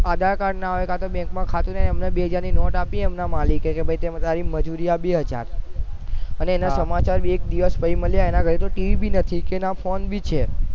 આધાર card ના હોય કાતો bank ખાતું નહી એમને બે હજાર ની નોટ આપી જે એમના માલિકે કે લે તારી મજુરી આપી બે હજાર અને સમાચાર એક દિવસ પેહલા મળ્યા એમના ઘરે બી TV નથી અને ફોન બી છે